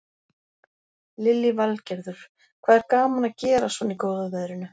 Lillý Valgerður: Hvað er gaman að gera svona í góða veðrinu?